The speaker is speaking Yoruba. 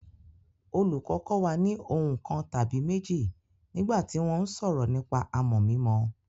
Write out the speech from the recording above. Olùkọ́ kọ́ wa ní ohun kan tàbí méjì nígbà tí wọ́n ń sọ̀rọ̀ nípa àmọ̀ mímọ.